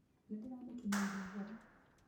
Nĩndĩramũkinyĩirie ũhoro.